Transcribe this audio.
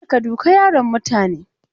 Kar ka duka yaron mutane!